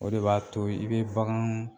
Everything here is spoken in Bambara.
O de b'a to i bɛ bagan